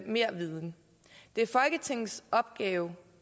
mere viden det er folketingets opgave